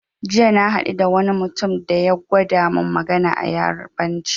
Jiya na haɗu da wani mutum da ya gwada mun magana a yarabanci